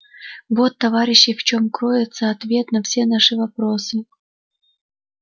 вот товарищи в чём кроется ответ на все наши вопросы